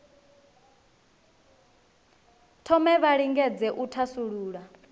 thome vha lingedze u thasulula